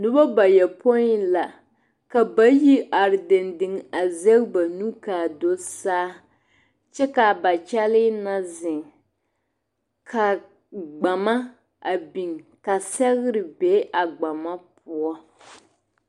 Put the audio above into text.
Noba bayopoi la ka bayi are dendeŋ a zege ba nu ka a do saa kyɛ ka ba kyɛlee na zeŋ ka gbama biŋ ka sɛgre be a gbama poɔ.